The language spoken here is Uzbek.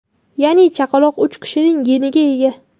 Ya’ni chaqaloq uch kishining geniga ega.